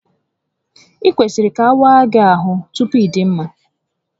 Ị kwesịrị ka awaa gị ahụ tupu ịdị mma